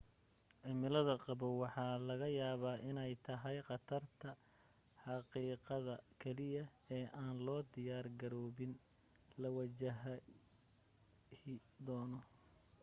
cimilada qabow waxaa laga yaaba iney tahay qatarta xaqiiqda keliya ee aan loo diyaar garoobin la wajahi doono